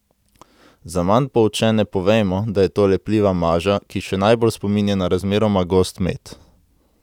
Za manj poučene povejmo, da je to lepljiva maža, ki še najbolj spominja na razmeroma gost med.